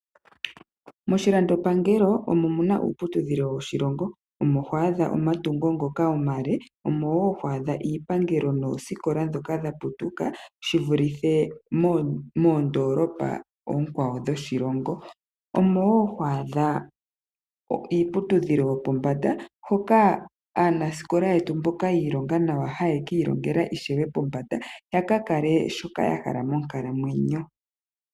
Moshilandopangelo omo muna uuputudhilo woshilongo, omo ho adha omatungo ngoka omale, omo wo ho adha iipangelo noosikola dhoka dhaputuka shivulithe moondolopa oonkwawo dhoshilongo, omo wo to adha iiputudhilo yopombanda hoka aanasikola yetu mboka yiilonga nawa haya ka ilongele ishewe pombanda yaka kale shoka yahala monkalamwenyo.